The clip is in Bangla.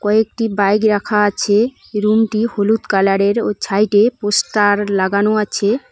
কয়েকটি বাইক রাখা আছে রুমটি হলুদ কালারের ও ছাইডে পোস্টার লাগানো আছে।